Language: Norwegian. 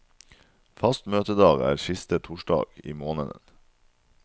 Fast møtedag er siste torsdag i måneden.